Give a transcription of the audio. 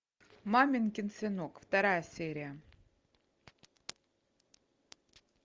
маменькин сынок вторая серия